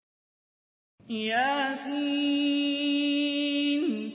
يس